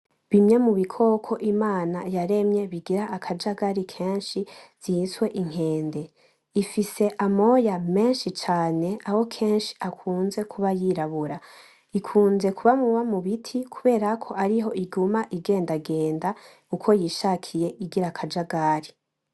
Bimwe mu bikoko Imana yaremye bigira akajagari kenshi vyiswe inkende, ifise amoya menshi cane aho kenshi akunze kuba yirabura, ikunze kuba muba biti kubera ariho iguma igendagenda uko yishakiye igira akajagari.